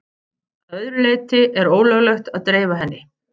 Að öðru leyti er ólöglegt að dreifa henni.